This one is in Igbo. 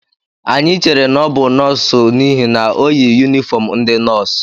Anyị chere na ọ bụ nọọsụ n'ihi na o yi yunifọm ndị nọọsụ